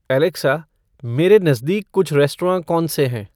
Alexa मेरे नज़दीक कुछ रेस्टौराँ कौन से हैं